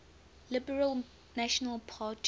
liberal national party